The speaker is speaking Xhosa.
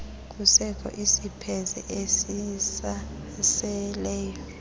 kusekho izipheze ezisaseleyo